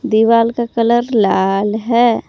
दीवाल का कलर लाल है।